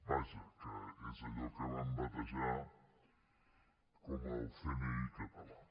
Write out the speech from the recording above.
vaja que és allò que van batejar com el cni català